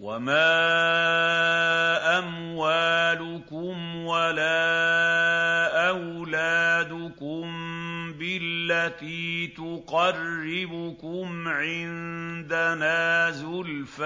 وَمَا أَمْوَالُكُمْ وَلَا أَوْلَادُكُم بِالَّتِي تُقَرِّبُكُمْ عِندَنَا زُلْفَىٰ